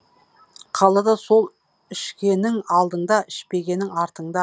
қалада сол ішкенің алдыңда ішпегенің артыңда